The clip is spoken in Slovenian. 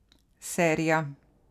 Serija.